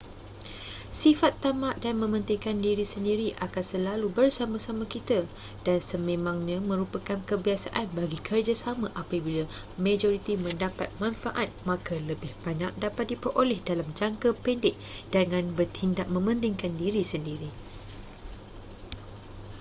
sifat tamak dan mementingkan diri sendiri akan selalu bersama-sama kita dan sememangnya merupakan kebiasaan bagi kerjasama apabila majoriti mendapat manfaat maka lebih banyak dapat diperoleh dalam jangka pendek dengan bertindak mementingkan diri sendiri